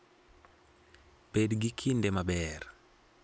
Bed gi kinde maber! .